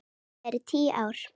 Hrunið er tíu ára.